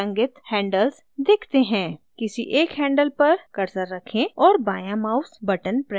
किसी एक handles पर cursor रखें और बायाँ mouse button press करें